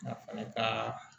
A fana ka